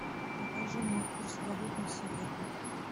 покажи мне курс валют на сегодня